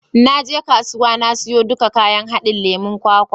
Na je kasuwa na siyo duka kayan haɗin lemon kwakwa.